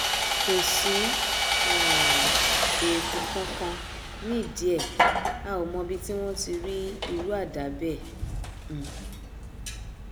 kò sí um èèkù kankan nídìí ẹ a ò mọbi tí wọn ti rí irú àdá bẹẹ um